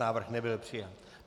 Návrh nebyl přijat.